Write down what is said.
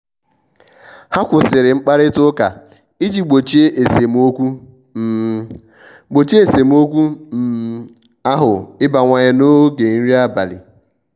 ha kwụsịrị mkparịta ụka iji gbochie esemokwu um gbochie esemokwu um ahu ịbawanye n'oge nri abalị.